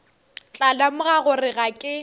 tla lemoga gore ga ke